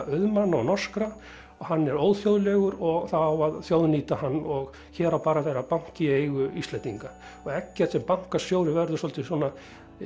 auðmanna og norskra og hann er óþjóðlegur og það á að þjóðnýta hann og hér á bara að vera banki í eigu Íslendinga og Eggert sem bankastjóri verður svolítið svona